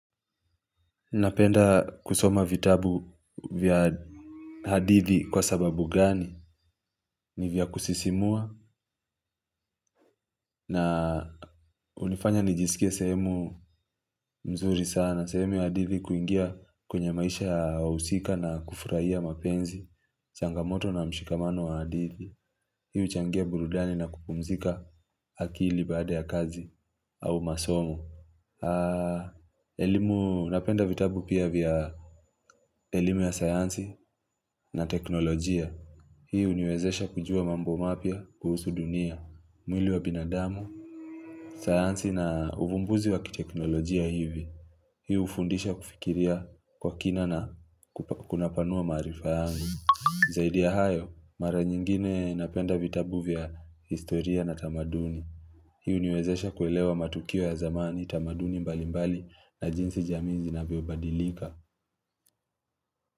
Napenda kusoma vitabu vya hadithi kwa sababu gani? Ni vya kusisimua na hunifanya nijisikie sehemu nzuri sana sehemu ya hadithi kuingia kwenye maisha ya wahusika na kufurahia mapenzi. Changamoto na mshikamano wa hadithi hiyo huchangia burudani na kukumzika akili baada ya kazi au masomo. Napenda vitabu pia vya elimu ya sayansi na teknolojia. Hii huniwezesha kujua mambo mapya kuhusu dunia, mwili wa binadamu, saansi na uvumbuzi wa kiteknolojia hivi. Hii hufundisha kufikiria kwa kina na kunapanua maarifa yangu. Zaidi ya hayo, mara nyingine napenda vitabu vya historia na tamaduni. Hii huniwezesha kuelewa matukio ya zamani tamaduni mbali mbali na jinsi jamii zinavyo badilika.